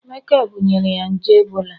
Emeka bunyere ya nje ebola